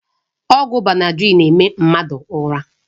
Ọgwụ Benadrịl na-eme mmadụ ụra.